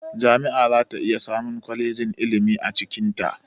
Jami'a zata iya samun kwalejin ilimi a cikinta